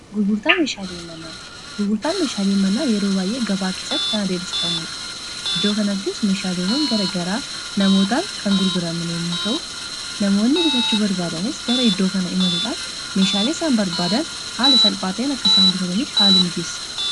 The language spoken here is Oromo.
gurgurtaan meeshaalii imanaa yeroo baay'ee gabaa keesatti kana deebsifamuudha iddoo kanattis meeshaalewwan gara garaa namootaan kan gurguramanemuu ta'u namoonni bitachu barbaadanis gara iddoo kana imaluudhaan meeshaaleesaan barbaadan haala salphaatain akkasaan bitatamiif haala mijiisa